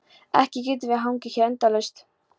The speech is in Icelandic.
Ekki getum við hangið hér endalaust.